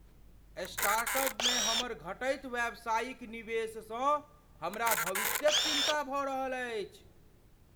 स्टार्टअपमे हमर घटैत व्यावसायिक निवेशसँ हमरा भविष्यक चिन्ता भऽ रहल अछि।